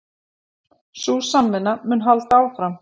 Sú samvinna mun halda áfram